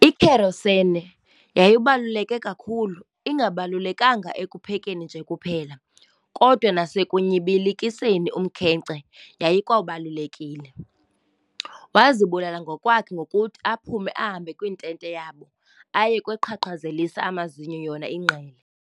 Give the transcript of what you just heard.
I-Kerosene yayibaluleke kakhulu- ingabalulekanga ekuphekeni nje kuphela, kodwa nasekunyibilikiseni umkhenkce yayikwabalulekile. Wazibulala ngokwakhe ngokuthi aphume ahambe kwintente yabo aye kweqhaqhazelisa amazinyo yona ingqele.